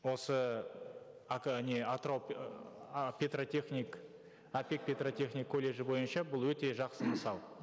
осы не атырау ыыы а петротехник апек петротехник колледжі бойынша бұл өте жақсы мысал